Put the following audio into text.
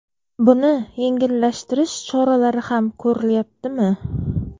Buni yengillashtirish choralari ham ko‘rilyaptimi?